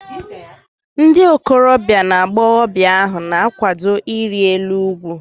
Ndị okorobia na agbọghọbịa ahu na-akwado iri elu ugwu